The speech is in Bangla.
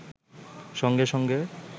সঙ্গে-সঙ্গে